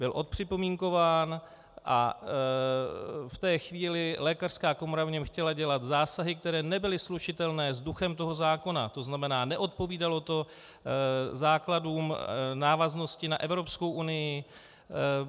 Byl odpřipomínkován a v té chvíli lékařská komora v něm chtěla dělat zásahy, které nebyly slučitelné s duchem toho zákona, to znamená, neodpovídalo to základům, návaznosti na Evropskou unii.